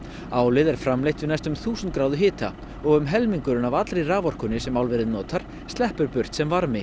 álið er framleitt við næstum þúsund gráðu hita og um helmingurinn af allri raforkunni sem álverið notar sleppur burt sem varmi